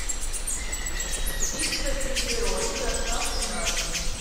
пицца пепперони доставка на дом